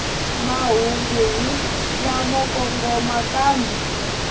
mahungu hi lamo kongoma kambe